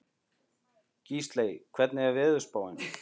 Gísley, hvernig er veðurspáin?